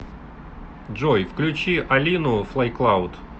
джой включи алину флай клауд